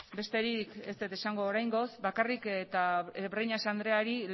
besterik ez dut esango oraingoz bakarrik eta breñas andreari